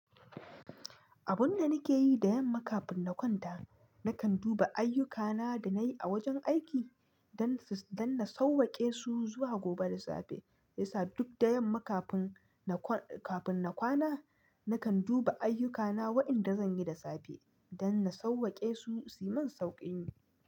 Abun da nake yi da yamma kafin na kwanta, nakan duba ayyukana da nayi a wajen aiki don, don na sauwake su zuwa gobe da safe. Me yasa? Duk da yamma kafin, kafin na kwana nakan duba ayyukana waɗanda zanyi da safe don na sauwake su, suyi min sauƙin yi.